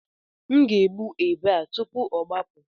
M ga-egbu ebe a tupu ọ gbapụ.